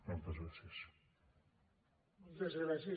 moltes gràcies